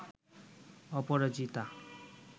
অপরাজিতা